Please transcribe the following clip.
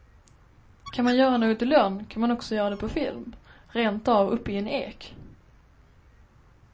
Kan man göra något i lönn kan man också göra det på film, rentav uppe i en ek.